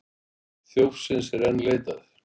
Þjófsins er enn leitað